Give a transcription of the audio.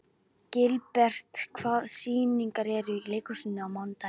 Gilbert, hvaða sýningar eru í leikhúsinu á mánudaginn?